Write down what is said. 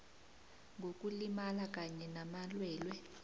ngokulimala kanye namalwelwe